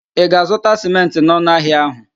Ị ga-azụta sịmentị n'ọnụ ahịa ahụ?